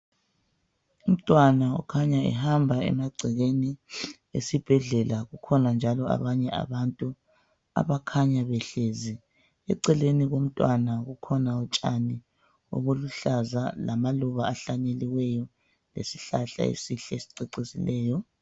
Umntwana ukhanya ehamba emagcekeni esibhedlela kukhona njalo abanye abantu abakhanya behlezi eceleni komntwana kukhona utshani obuluhlaza lamaluba ahlanyeliweyo lesihlahla esihle esicecisileyo.